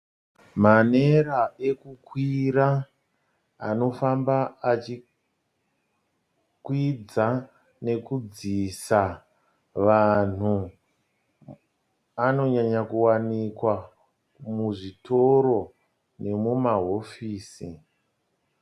Manera okukwira anofamba achikwidza nekudzisa vanhu anonyanya kuwanikwa muzvitoro nemumahofisi.